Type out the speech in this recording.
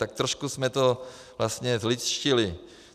Tak trošku jsme to vlastně zlidštili.